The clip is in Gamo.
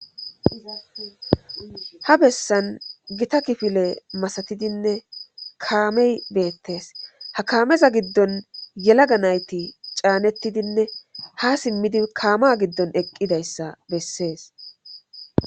Ha bessan gita kifile masatidinne kaamey beettees .Ha kaameza giddon yelaga nayti caanettidinne ha simmidi kaama giddon eqqida issa bessees.